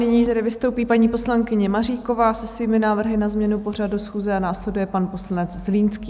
Nyní tedy vystoupí paní poslankyně Maříková se svými návrhy na změnu pořadu schůze a následuje pan poslanec Zlínský.